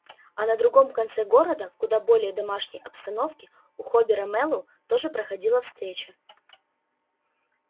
а на другом конце города в куда более домашней обстановке у хобера мэллоу тоже проходила встреча